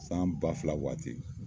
San ba fila waati